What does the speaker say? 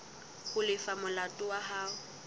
ho lefa molato wa hao